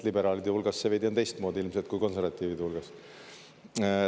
Liberaalide hulgas see veidi on teistmoodi ilmselt kui konservatiivide hulgas.